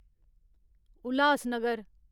Ulhasnagar